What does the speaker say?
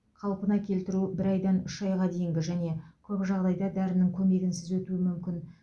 қалпына келтіру бір айдан үш айға дейін және көп жағдайда дәрінің көмегінсіз өтуі мүмкін